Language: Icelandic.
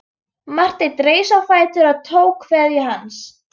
Marteinn reis á fætur og tók kveðju hans.